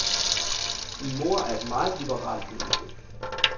Min mor er et meget liberalt menneske.